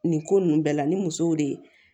Nin ko nunnu bɛɛ la ni musow de ye